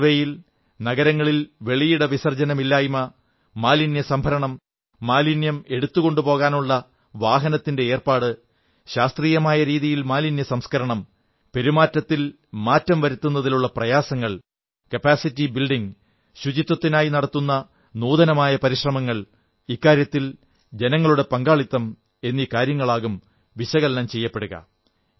ഈ സർവ്വേയിൽ നഗരങ്ങളെ വെളിയിട വിസർജ്ജന മുക്തമാക്കൽ മാലിന്യസംഭരണം മാലിന്യം എടുത്തുകൊണ്ടുപോകാനുള്ള വാഹനത്തിന്റെ ഏർപ്പാട് ശാസ്ത്രീയമായ രീതിയിൽ മാലിന്യസംസ്കരണം ശീലങ്ങളിൽ മാറ്റം വരുത്തുന്നതിലുള്ള പ്രയാസങ്ങൾ ശേഷി വികസനം ശുചിത്വത്തിനായി നടത്തിയ നൂതനമായ പരിശ്രമങ്ങൾ ഇക്കാര്യത്തിൽ ജനങ്ങളുടെ പങ്കാളിത്തം എന്നീ കാര്യങ്ങളാകും വിശകലനം ചെയ്യപ്പെടുക